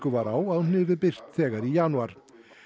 væru á að hún yrði birt þegar í janúar